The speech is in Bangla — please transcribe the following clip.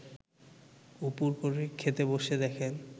উপুড় করে খেতে বসে দেখেন